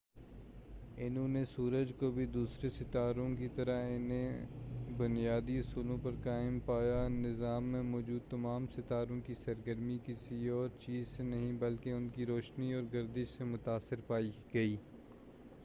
انھوں نے سورج کو بھی دوسرے ستاروں کی طرح انہیں بنیادی اصولوں پر قائم پایا نظام میں موجود تمام ستاروں کی سرگرمی کسی اور چیز سے نہیں بلکہ ان کی روشنی اور گردش سے متاثر پائی گئی